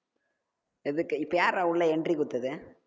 எதுக்கு இப்ப யார்றா உள்ள entry கொடுத்தது